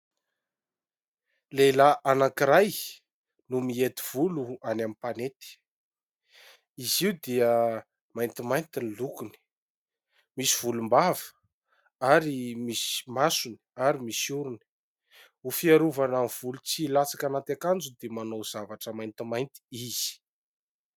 Lehilahy iray no mihety volo any amin'ny mpanety. Izy io dia maintimainty ny loko, misy volom-bava ary misy masony ary misy orony. Ho fiarovana ny volo tsy ho latsaka anaty akanjony dia manao zavatra maintimainty izy.